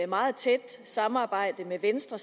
meget tæt samarbejde med venstre